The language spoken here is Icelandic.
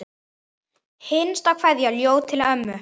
Hinsta kveðja, ljóð til ömmu.